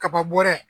Kaba bɔra yen